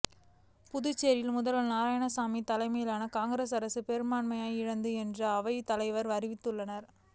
புதுச்சேரியில் முதல்வர் நாராயணசாமி தலைமையிலான காங்கிரஸ் அரசு பெரும்பான்மையை இழந்தது என்று அவைத் தலைவர் அறிவித்துள்ளார்